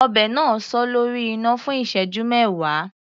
Ọbẹ̀ náà sọ lórí iná fún ìṣẹ́jú mẹwa.